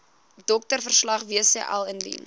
doktersverslag wcl indien